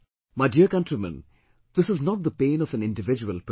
My dear countrymen, this is not the pain of an individual person